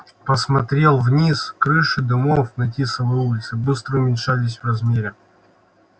посмотрел вниз крыши домов на тисовой улице быстро уменьшались в размере